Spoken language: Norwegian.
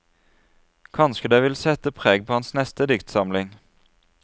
Kanskje det vil sette preg på hans neste diktsamling.